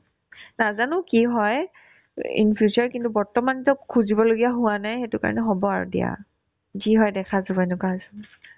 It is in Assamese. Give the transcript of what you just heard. নাজানো কি হয় in future কিন্তু বৰ্তমানতো খুজিবলগীয়া হোৱা নাই সেইটো কাৰণে হ'ব আৰু দিয়া যি হয় দেখা যাব এনেকুৱা হৈছে মোৰ